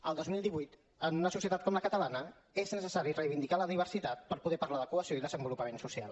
el dos mil divuit en una societat com la catalana és necessari reivindicar la diversitat per poder parlar de cohesió i desenvolupament social